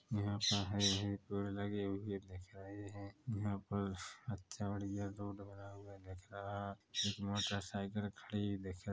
यहाँ पर हरे-भरे पेड़ लगे हुए दिख रहे है यहाँ पर अच्छा बढ़िया रोड बना हुआ दिख रहा है एक मोटर साइकल खड़ी दिख --